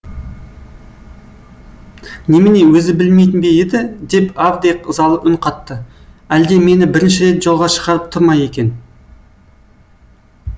немене өзі білмейтін бе еді деп авдей ызалы үн қатты әлде мені бірінші рет жолға шығарып тұр ма екен